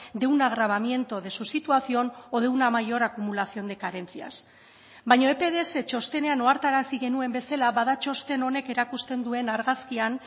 de un agravamiento de su situación o de una mayor acumulación de carencias baina epds txostenean ohartarazi genuen bezala bada txosten honek erakusten duen argazkian